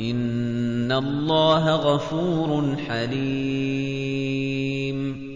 إِنَّ اللَّهَ غَفُورٌ حَلِيمٌ